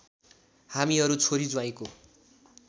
हामीहरू छोरी ज्वाईँको